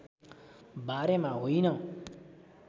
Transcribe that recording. बारेमा होइन